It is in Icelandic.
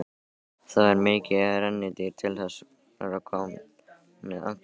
Það var mikið rennirí til þessarar konu alla daga.